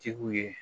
Tigiw ye